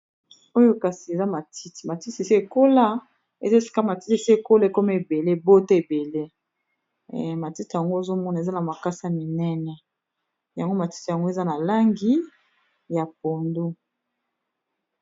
Oyo kasi eza matiti. Matiti esi ékola, eza sika matiti esi ékola, ékoma ébelé, ébota ebelé. Matiti yango ozomona eza na makasa minéné , yango matiti yango eza na langi ya pondu.